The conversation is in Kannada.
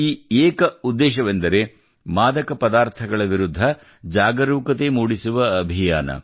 ಈ ಏಕ ಉದ್ದೇಶವೆಂದರೆ ಮಾದಕ ಪದಾರ್ಥಗಳ ವಿರುದ್ಧ ಜಾಗರೂಕತೆ ಮೂಡಿಸುವ ಅಭಿಯಾನ